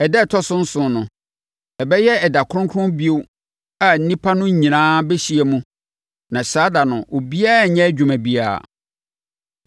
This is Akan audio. Ɛda a ɛtɔ so nson no, ɛbɛyɛ ɛda kronkron bio a nnipa no nyinaa bɛhyia mu na saa ɛda no, obiara renyɛ adwuma biara.